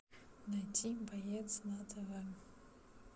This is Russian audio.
найти боец на тв